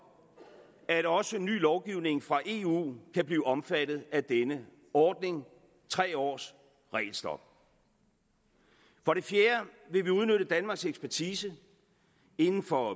at også ny lovgivning fra eu kan blive omfattet af denne ordning tre års regelstop for det fjerde vil vi udnytte danmarks ekspertise inden for